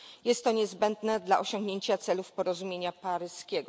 Jest to niezbędne dla osiągnięcia celów porozumienia paryskiego.